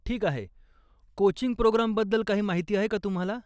ठीक आहे, कोचिंग प्रोग्रामबद्दल काही माहिती आहे का तुम्हाला?